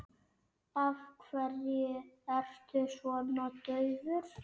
Af hverju ertu svona daufur?